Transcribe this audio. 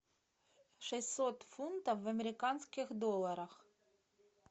шестьсот фунтов в американских долларах